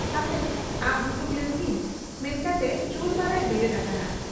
ᱦᱟᱯᱮ ᱟᱵ ᱦᱩᱛᱩᱢ ᱞᱮᱱᱜᱮᱧ ᱢᱮᱱᱠᱟᱛᱮ ᱪᱩᱨᱟᱹᱢᱟᱨᱟᱭ ᱵᱮᱨᱮᱫ ᱟᱠᱟᱱᱟ ᱾